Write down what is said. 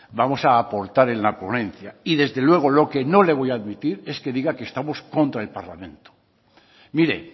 vamos a aportar en la ponencia y desde luego lo que no le voy a admitir es que diga que estamos contra el parlamento mire